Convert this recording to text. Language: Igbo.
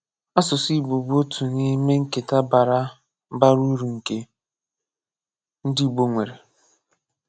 Asụsụ Igbo bụ otu n'ime nketa bara bara uru nke ndị Igbo nwere.